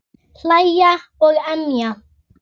Hlæja og emja.